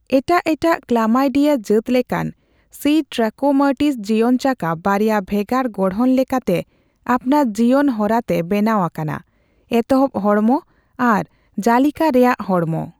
ᱮᱴᱟᱜ ᱮᱴᱟᱜ ᱠᱞᱟᱢᱟᱭᱰᱤᱭᱟ ᱡᱟᱹᱛ ᱞᱮᱠᱟᱱ, ᱥᱤ ᱴᱨᱟᱠᱳᱢᱟᱴᱤᱥ ᱡᱤᱭᱚᱱᱪᱟᱠᱟ ᱵᱟᱨᱭᱟ ᱵᱷᱮᱜᱟᱨ ᱜᱚᱲᱦᱚᱱ ᱞᱮᱠᱟᱛᱮ ᱟᱯᱱᱟᱨ ᱡᱤᱭᱚᱱ ᱦᱚᱨᱟᱛᱮ ᱵᱮᱱᱟᱣ ᱟᱠᱟᱱᱟ ᱺ ᱮᱛᱚᱦᱚᱵ ᱦᱚᱲᱢᱚ ᱟᱨ ᱡᱟᱞᱤᱠᱟ ᱨᱮᱭᱟᱜ ᱦᱚᱲᱢᱚ ᱾